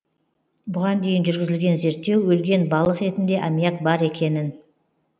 бұған дейін жүргізілген зерттеу өлген балық етінде аммиак бар екенін